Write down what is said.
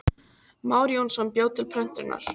Már Jónsson bjó til prentunar.